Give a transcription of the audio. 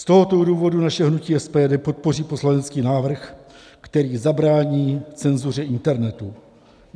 Z tohoto důvodu naše hnutí SPD podpoří poslanecký návrh, který zabrání cenzuře internetu.